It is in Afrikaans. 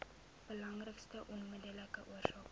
belangrikste onmiddellike oorsake